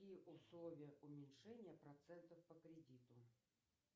и условия уменьшения процентов по кредиту